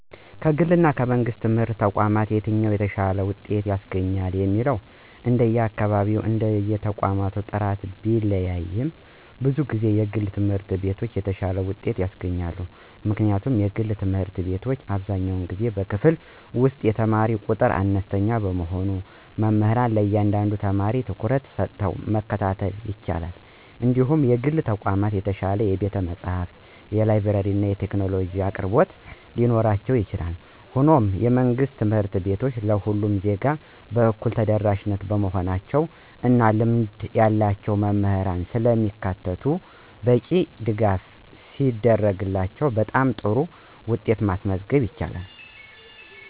ከግልና ከመንግሥት ትምህርት ተቋማት የትኛው የተሻለ ውጤት ያስገኛል የሚለው እንደየአካባቢውና እንደየተቋሙ ጥራት ቢለያይም፣ ብዙ ጊዜ የግል ትምህርት ቤቶች የተሻለ ውጤት ያስገኛሉ። ምክንያቱም የግል ትምህርት ቤቶች አብዛኛውን ጊዜ በክፍል ውስጥ የተማሪ ቁጥር አነስተኛ በመሆኑ መምህራን ለእያንዳንዱ ተማሪ ትኩረት ሰጥተው መከታተል ይችላሉ እንዲሁም የግል ተቋማት የተሻለ የቤተ-መጻሕፍት፣ የላብራቶሪና የቴክኖሎጂ አቅርቦቶች ሊኖራቸው ይችላል። ሆኖም፣ የመንግሥት ትምህርት ቤቶች ለሁሉም ዜጋ በእኩልነት ተደራሽ በመሆናቸው እና ልምድ ያላቸው መምህራንን ስለሚያካትቱ በቂ ድጋፍ ሲደረግላቸው በጣም ጥሩ ውጤት ማስመዝገብ ይችላሉ።